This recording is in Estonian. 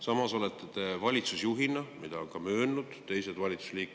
Samas olete te valitsusjuhina püstitanud sihiseade 5%-ni.